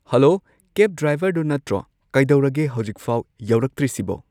hello cab ꯗ꯭ꯔꯥꯏꯚꯔꯗꯣ ꯅꯠꯇ꯭ꯔꯣ ꯀꯩꯗꯧꯔꯒꯦ ꯍꯧꯖꯤꯛꯐꯥꯎ ꯌꯧꯔꯛꯇ꯭ꯔꯤꯁꯤꯕꯣ